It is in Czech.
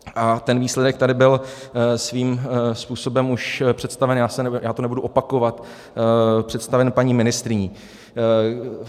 A ten výsledek tady byl svým způsobem už představen, já to nebudu opakovat, představen paní ministryní.